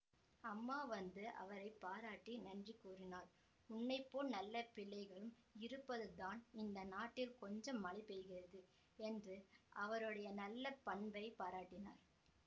அம்மா வந்து அவரை பாராட்டி நன்றி கூறினார் உன்னை போல் நல்ல பிள்ளைகளும் இருப்பதனால்தான் இந்த நாட்டில் கொஞ்சம் மழை பெய்கிறது என்று அவருடைய நல்ல பண்பைப் பாராட்டினார்